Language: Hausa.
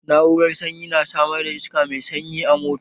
Na'urar sanyi na samar da iska mai sanyi a mota